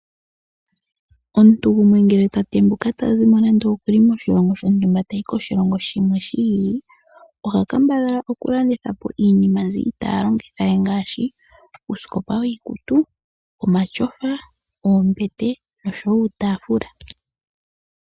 Omuntu gumwe ngele ta tembuka, tazi moshilongo shontumba tayi koshilongo shimwe shi ili, oha kambadhala okulandithapo iinima mbyi iitaa longitha we, ngaashi; uusikopa wiikutu, omatyofa, oombete noshowo uutafula.